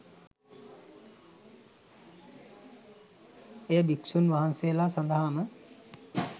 එය භික්‍ෂූන් වහන්සේලා සඳහාම